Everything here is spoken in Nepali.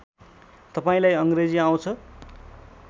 तपाईँलाई अङ्ग्रेजी आउँछ